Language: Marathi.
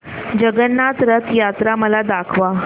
जगन्नाथ रथ यात्रा मला दाखवा